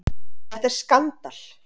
Þetta er skandal!